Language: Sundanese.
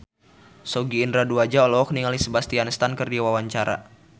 Sogi Indra Duaja olohok ningali Sebastian Stan keur diwawancara